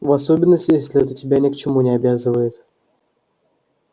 в особенности если это тебя ни к чему не обязывает